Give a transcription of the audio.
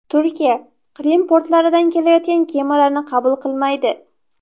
Turkiya Qrim portlaridan kelayotgan kemalarni qabul qilmaydi.